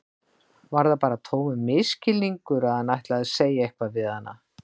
Var það bara tómur misskilningur að hann ætlaði að segja eitthvað við hana?